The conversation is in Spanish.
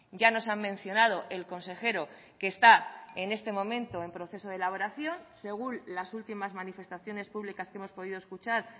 ya nos han mencionado el consejero que está en este momento en proceso de elaboración según las últimas manifestaciones públicas que hemos podido escuchar